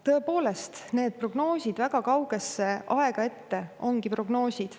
Tõepoolest, need prognoosid väga kaugesse aega ette ongi prognoosid.